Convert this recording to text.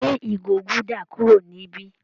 Gbé ìgò gúdà kúrò níbí.